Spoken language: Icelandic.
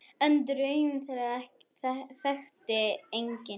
En draum þeirra þekkti enginn.